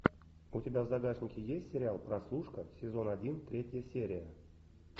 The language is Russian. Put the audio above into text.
у тебя в загашнике есть сериал прослушка сезон один третья серия